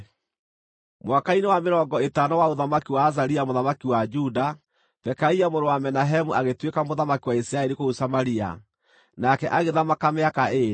Mwaka-inĩ wa mĩrongo ĩtano wa ũthamaki wa Azaria mũthamaki wa Juda, Pekaia mũrũ wa Menahemu agĩtuĩka mũthamaki wa Isiraeli kũu Samaria, nake agĩthamaka mĩaka ĩĩrĩ.